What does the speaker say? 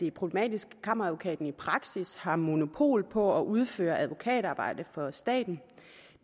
er problematisk at kammeradvokaten i praksis har monopol på at udføre advokatarbejde for staten